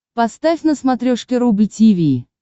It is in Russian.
поставь на смотрешке рубль ти ви